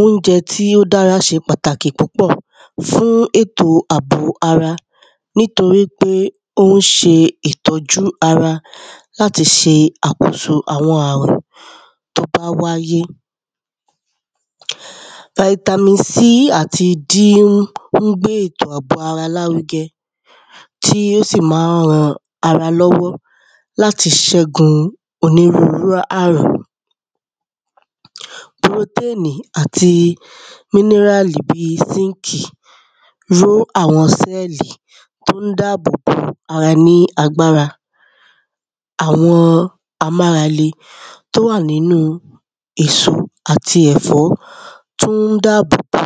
Óúnjẹ̄ tí ó dárā ṣē pàtàkì púpọ̀ fún ètò àbò ārā nítōrí pé ó ń ṣē ìtọ́jú ārā látī ṣē àkósō àwọn àrùn tó bá wáyé. Vitamin C àtī D ún ó ń gbé ètò ārā lárūgẹ̄ tí ó sì ma ń rān ārā lọ́wọ́ látī ṣẹ́gūn ōnírúrūú àrùn. Pūrōténì àtī míníràlì bí i sínkì ró àwọ̄n sẹ́ẹ̀lì tó ń dáàbò bō ārā ní āgbárā àwọ̄n āmárālē tó wà nínú u èsō àtī ẹ̀fọ́ tó ń dáàbò bō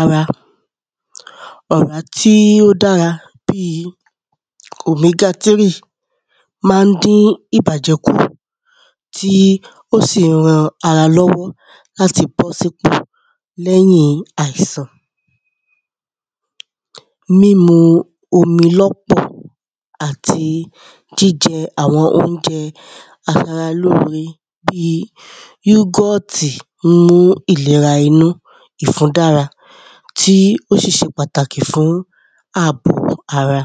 ārā. ọ̀rá tí ó dárā bī omēgā tírì máa ń dín ìbàjẹ́ kù tí ò sì ń rān ārā lọ́wọ́ látī bọ́ sípò lẹ́yìn àìsàn. Mímū ōmī lọ́pọ̀ àtī jíjẹ̄ àwọ̄n óúnjẹ̄ āsārā lóōrē bí yúgọ́ọ̀tì mú ìlērā īnú ìfūn dárā tí ó sì ṣē pàtàkì fún ààbò ārā.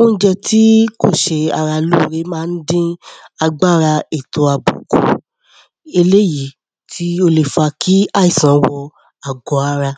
Óúnjẹ̄ tí kò ṣē ārā lóōrē má ń dín āgbárā ètò àbò kù ēléèyí tí ó lē fā kí àìsàn wọ̄ àgọ́ ārā.